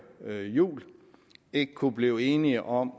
jul ikke kunne blive enige om